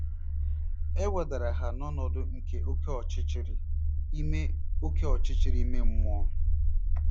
E wedara ha n’ọnọdụ nke oké ọchịchịrị ime oké ọchịchịrị ime mmụọ.